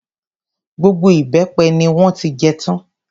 Gbogbo ìbẹ́pẹ ni wọ́n ti jẹ tán.